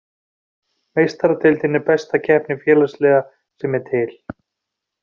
Meistaradeildin er besta keppni félagsliða sem er til.